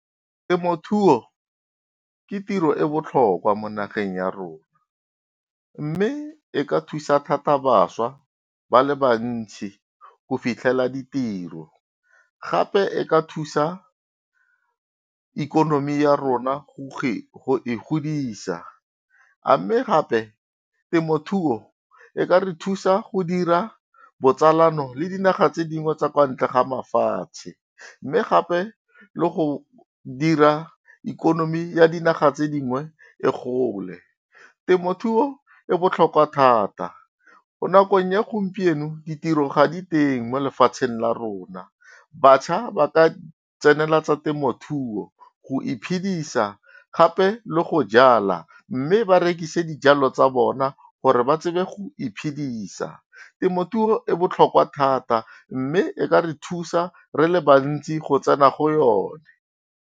Temothuo ke tiro e botlhokwa mo nageng ya rona, mme e ka thusa thata bašwa ba le bantsi go fitlhela ditiro. Gape e ka thusa ikonomi ya rona go e godisa a mme gape, temothuo e ka re thusa go dira botsalano le dinaga tse dingwe tsa kwa ntle ga mafatshe. Mme gape le go dira ikonomi ya dinaga tse dingwe e gole. Temothuo e botlhokwa thata mo nakong ya gompieno, ditiro ga diteng mo lefatsheng la rona. Bašwa ba ka tsenela tsa temothuo go iphidisa gape le go jala, mme ba rekise dijalo tsa bona gore ba tsebe go iphidisa. Temothuo e botlhokwa thata mme e ka re thusa re le bantsi go tsena go yone.